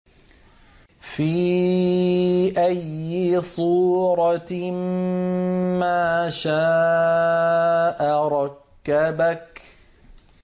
فِي أَيِّ صُورَةٍ مَّا شَاءَ رَكَّبَكَ